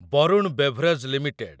Varun beverage limited